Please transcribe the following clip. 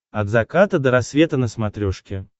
от заката до рассвета на смотрешке